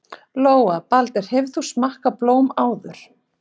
Lóa: Baldur, hefur þú smakkað blóm áður?